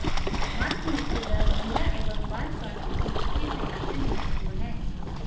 मातृ मृत्यु दर महिला एवं बाल स्वास्थ्य की दृष्टि से अत्यंत महत्वपूर्ण है